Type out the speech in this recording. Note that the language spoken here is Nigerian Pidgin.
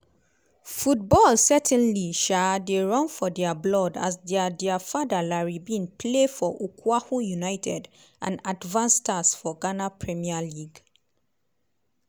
football certainly um dey run for dia blood as dia dia father larry bin play for okwahu united and advance stars for ghana premier league.